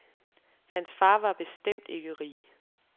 Hans far var bestemt ikke rig.